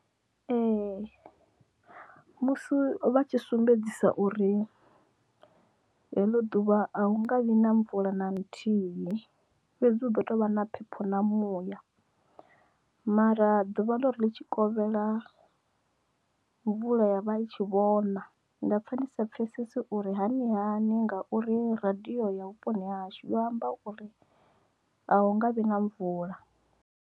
Ee musi vha tshi sumbedzisa uri heḽo ḓuvha a hunga vhi na mvula na nthihi fhedzi hu ḓo tou vha na phepho na muya mara ḓuvha ḽari litshikovhela mvula ya vha i tshi vhona nda ovha ndi sa pfhesesi uri hani hani ngauri radio ya vhuponi hashu ya amba uri ho nga vhi na mvula.